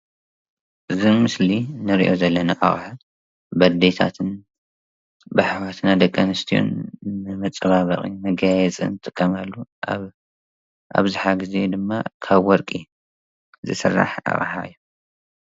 እዚ ምስሊ እንርእዮ ዘለና ኣቅሓ በኣዴታትን ባሕዋትና ደቂ ኣንስትዮን ንመጻባበቂን መጋየጽን ዝጥቀማሉ ኣብዝሓ ግዜ ድማ ካብ ወርቂ ዝስራሕ ኣቅሓ እዩ።